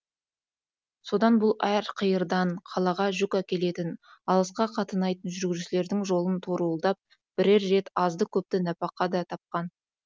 содан бұл әр қиырдан қалаға жүк әкелетін алысқа қатынайтын жүргізушілердің жолын торуылдап бірер рет азды көпті нәпақа да тапқан